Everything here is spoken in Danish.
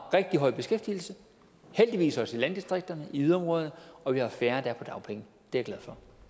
rigtig høj beskæftigelse heldigvis også i landdistrikterne og i yderområderne og at vi har færre der er på dagpenge det det